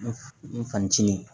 N fincini